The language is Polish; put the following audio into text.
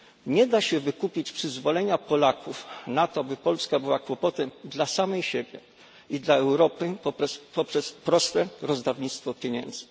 Nie da się wykupić przyzwolenia Polaków na to, by Polska była kłopotem dla samej siebie i dla Europy poprzez proste rozdawnictwo pieniędzy.